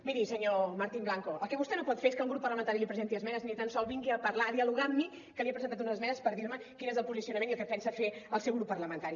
miri senyor martín blanco el que vostè no pot fer és que un grup parlamentari li presenti esmenes i ni tan sols que vingui a parlar a dialogar amb mi que li he presentat unes esmenes per dir me quin és el posicionament i el que pensa fer el seu grup parlamentari